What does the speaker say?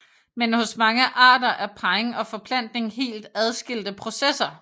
Men hos mange arter er parring og forplantning helt adskilte processer